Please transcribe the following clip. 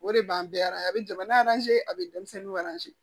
O de b'an bɛɛ a bɛ jamana a bɛ denmisɛnninw